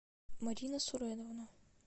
марина суреновна